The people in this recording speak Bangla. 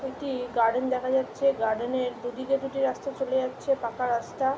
একটি গার্ডেন দেখা যাচ্ছে গার্ডেন এর দুদিকে দুটি রাস্তা চলে যাচ্ছে পাকা রাস্তা।